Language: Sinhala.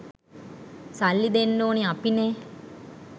සල්ලි දෙන්න ඕනෙ අපිනේ